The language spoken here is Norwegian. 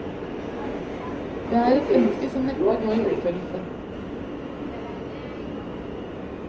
Det er et ønske som neppe går i oppfyllelse.